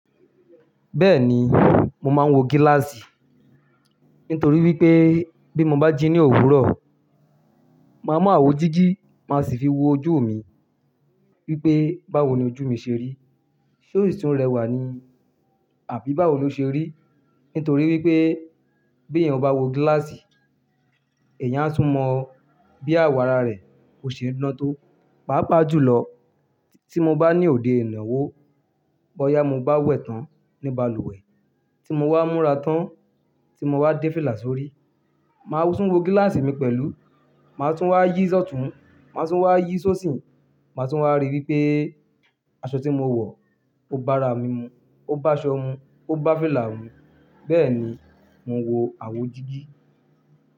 Bẹ́ẹ̀ni, mo máa ń wọ gíláàsì. Nítorí wípé bí mo bá jí ní òwúrọ̀, màá mọ wo jígi. Màá sì fi wo ojú mi. Wípé báwo ni ojú mi ṣe rí, ṣé tun rẹwà ni? Àbí báwo ló ṣe rí? Nítorí wípé bí èèyàn bá wọ gíláàsì, èèyàn á tún mọ bí àwọ̀ ara rẹ ó ṣe ń dán tó. Pápa jùlọ tí mo bá ní òde ìnáwó, bọ́yá mo bá wẹ̀ tán ní balùwẹ̀, tí mo bá múra tán, tí mo bá dé fílà sórí, màá tún wọ gíláàsì mi pẹ̀lú. Màá tún wá yí ṣọtún, màá tún wá yí ṣo osi, màá tún wá rí wípé aṣọ tí mo wọ̀ o bá ara mímu, ó bá aṣọ mu, ó bá fìlà mu. Bẹ́ẹ̀ ni mo ń wọ àwo jígi.